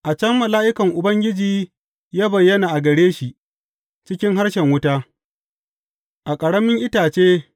A can mala’ikan Ubangiji ya bayyana a gare shi cikin harshen wuta, a ƙaramin itace.